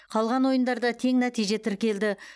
қалған ойындарда тең нәтиже тіркелді